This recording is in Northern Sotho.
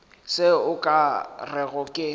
se o ka rego ke